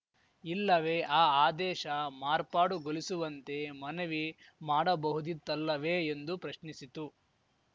ಇಲ್ಲವೇ ಆ ಆದೇಶ ಮಾರ್ಪಾಡುಗೊಲಿಸುವಂತೆ ಮನವಿ ಮಾಡಬಹುದಿತ್ತಲ್ಲವೇ ಎಂದು ಪ್ರಶ್ನಿಸಿತು